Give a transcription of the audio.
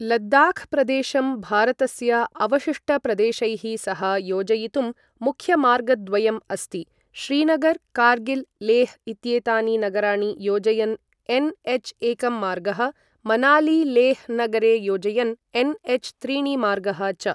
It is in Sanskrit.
लद्दाख् प्रदेशं भारतस्य अवशिष्टप्रदेशैः सह योजयितुं मुख्यमार्गद्वयम् अस्ति, श्रीनगर् कार्गिल् लेह् इत्येतानि नगराणि योजयन् एन्.एच्एकं मार्गः, मनाली लेह् नगरे योजयन् एन्.एच्.त्रीणि मार्गः च।